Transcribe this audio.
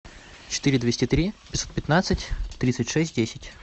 четыре двести три пятьсот пятнадцать тридцать шесть десять